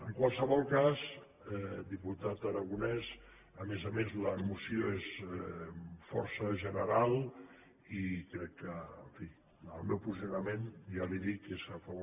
en qualsevol cas diputat aragonès a més a més la moció és força general i crec que en fi el meu posicio nament ja li ho dic és a favor de la moció